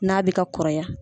N'a bɛ ka kɔrɔ ya.